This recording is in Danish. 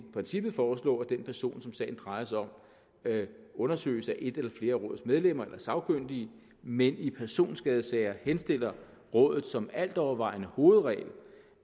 princippet foreslå at den person som sagen drejer sig om undersøges af et eller flere af rådets medlemmer eller sagkyndige men i personskadesager henstiller rådet som altovervejende hovedregel